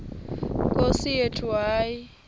nkosi yethu hayi